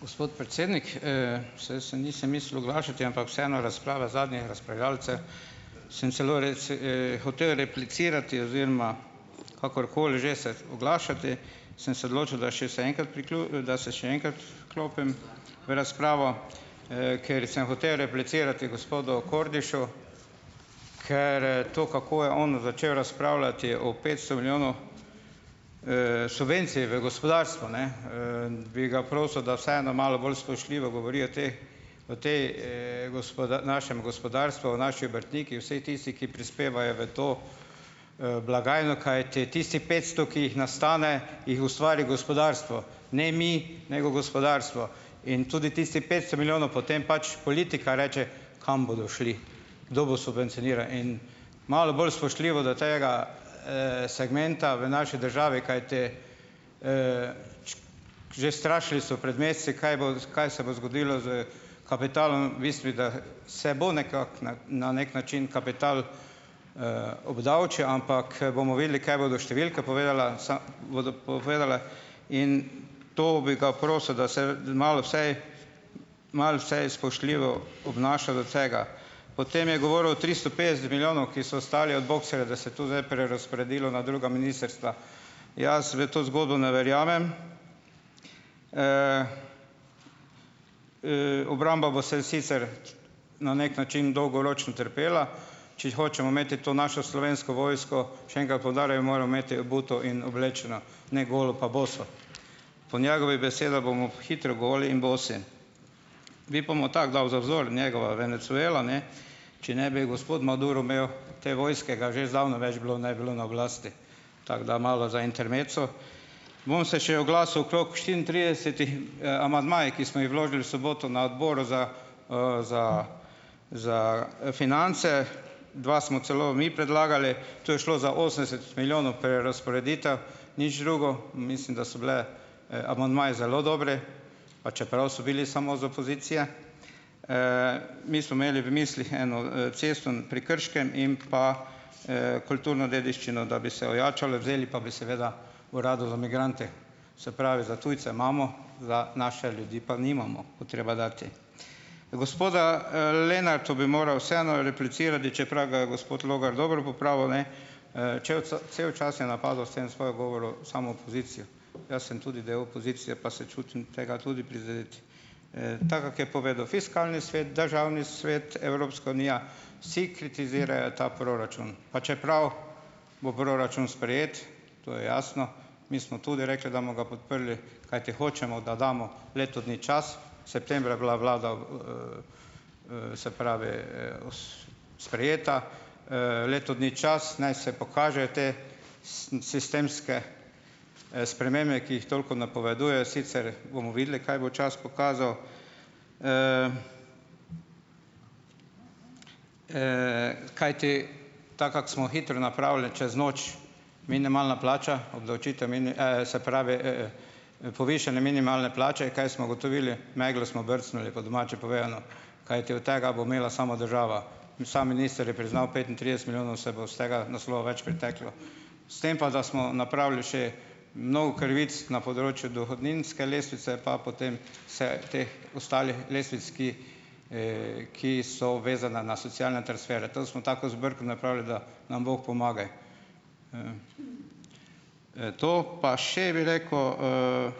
Gospod predsednik, saj se nisem mislil oglašati, ampak vseeno razprava zadnjih razpravljavcev, sem celo hotel replicirati oziroma, kakorkoli že se oglašati, sem se odločil, da še se enkrat da se še enkrat vklopim v razpravo, ker sem hotel replicirati gospodu Kordišu, ker, to, kako je on začel razpravljati o petsto milijonov, subvencij v gospodarstvu, ne, Bi ga prosil, da vseeno malo bolj spoštljivo govori o teh o tej, našem gospodarstvu, o naši obrtniki, vsej tisti, ki prispevajo v to, blagajno, kajti tistih petsto, ki jih nastane, jih ustvari gospodarstvo, ne mi, nego gospodarstvo, in tudi tistih petsto milijonov potem pač politika reče, kam bodo šli, kdo bo subvencioniral in malo bolj spoštljivo do tega, segmenta v naši državi, kajti, že strašili so pred meseci, kaj boš, kaj se bo zgodilo s kapitalom, bistvu, da se bo nekako, ne, na neki način kapital, obdavčil, ampak, bomo videli, kaj bodo številke povedale bodo povedale, in to bi ga prosil, da se, da malo vsaj malo vsaj spoštljivo obnaša do tega. Potem je govoril o tristo petdeset milijonov, ki so ostali od boxerja, da se tu zdaj prerazporedilo na druga ministrstva. Jaz v to zgodbo ne verjamem. Obramba bo se sicer, na neki način, dolgoročen, trpela, če hočemo imeti to našo Slovensko vojsko, še enkrat poudarjam, moramo imeti obuto in oblečeno, ne golo pa boso. Po njegovih besedah bomo hitro goli in bosi. Bi pa mu tako dal za vzor, njegova Venezuela, ne, če ne bi gospod Maduro imel te vojske, ga že zdavnaj več bilo ne bi bilo na oblasti, tako da, malo za "intermezzo". Bom se še oglasil okrog štiriintridesetih, amandmajih, ki smo jih vložili v soboto na Odboru za, za za, finance, dva smo celo mi predlagali. To je šlo za osemdeset milijonov prerazporeditev, nič drugo in mislim, da so bile, amandmaji zelo dobri, pa čeprav so bili samo z opozicije. Mi smo imeli v mislih eno, cesto pri Krškem in pa, kulturno dediščino, da bi se ojačalo, vzeli pa bi seveda Uradu za migrante - se pravi, za tujce imamo, za naše ljudi pa nimamo, bo treba dati. Gospodu, Lenartu bi moral vseeno replicirati, čeprav ga je gospod Logar dobro popravil, ne. Če bo cel čas je napadal, s tem svojim govorom, samo opozicijo. Jaz sem tudi del opozicije, pa se čutim tega tudi prizdet. Tako kak je povedal, Fiskalni svet, Državni svet, Evropska unija - vsi kritizirajo ta proračun, pa čeprav bo proračun sprejet, to je jasno, mi smo tudi rekli, da bomo ga podprli, kajti hočemo, da damo leto dni čas, septembra je bila vlada v, se pravi, os, sprejeta, leto dni čas, naj se pokažejo te sistemske, spremembe, ki jih toliko napovedujejo, sicer bomo videli, kaj bo čas pokazal, kajti, tako kakor smo hitro napravili čez noč, minimalna plača, obdavčitev se pravi, povišanje minimalne plače in kaj smo ugotovili? Meglo smo brcnili, po domače povedano, kajti od tega bo imela samo država in samo minister je priznal, petintrideset milijonov se bo s tega naslova več priteklo. S tem pa, da smo napravili še mnogo krivic na področju dohodninske lestvice, pa potem se teh ostalih lestvic, ki, ki so vezane na socialne transfere. Tam smo tako "zbirko" napravili, da nam bog pomagaj. To, pa še, bi rekel,